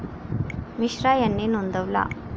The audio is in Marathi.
मिश्रा यांनी नोंदवला.